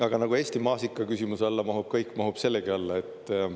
Aga nagu Eesti maasika küsimuse alla mahub kõik, mahub sellegi alla.